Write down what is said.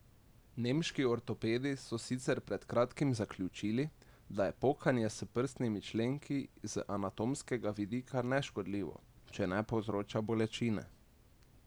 Nemški ortopedi so sicer pred kratkim zaključili, da je pokanje s prstnimi členki z anatomskega vidika neškodljivo, če ne povzroča bolečine.